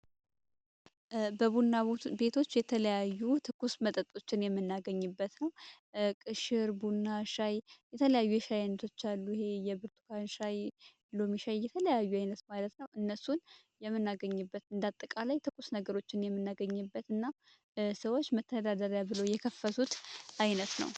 በቡና ቤቶች የተለያዩ ትኩስ መጠጦችን የምናገኝበት ቅሽር፣ ቡና፣ ሻይ የተለያዩ የሻይ አይነቶች የብርቱካን ሻይ፣ ሎሚ ሻይ የተለያዩ አይነት ማለት ነው እነሱን የምናገኝበት እንዳጠቃላይ ትኩስ ነገሮችን የምናገኘበት እና ሰዎች መተዳደሪያ ብሎ የከፈቱት አይነት ነው።